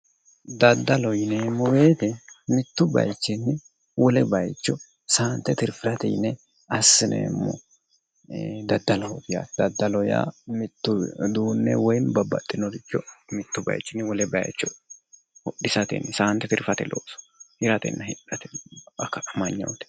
Daddallo yineemmo woyte mitu bayichinni wole bayicho saante tirfirate yinne assineemmo daddalloho yaa mito uduune woyi babbaxinoricho mitu bayichini wole bayicho hodhisate saate tirfirate looso hirate hidhate akkatu amanyote